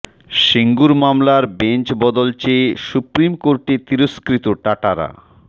সিঙ্গুর মামলার বেঞ্চ বদল চেয়ে সুপ্রিম কোর্টে তিরস্কৃত টাটারা